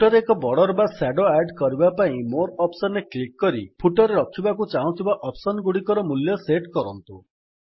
footer ରେ ଏକ border ବା ସ୍ୟାଡୋ ଆଡ୍ କରିବା ପାଇଁ ମୋରେ ଅପ୍ସନ୍ ରେ କ୍ଲିକ୍ କରି ଫୁଟର୍ ରେ ରଖିବାକୁ ଚାହୁଁଥିବା ଅପ୍ସନ୍ ଗୁଡିକର ମୂଲ୍ୟ ସେଟ୍ କରନ୍ତୁ